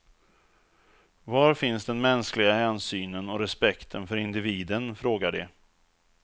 Var finns den mänskliga hänsynen och respekten för individen, frågar de.